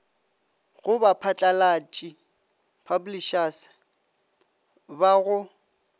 go baphatlalatši publishers ba go